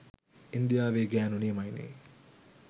ඉන්දියාවෙ ගෑනු නියමයිනෙ